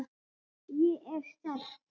Ég er sterk.